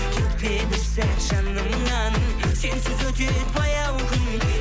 кетпе бір сәт жанымнан сенсіз өтеді баяу күн